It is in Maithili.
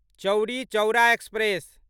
चौरी चौरा एक्सप्रेस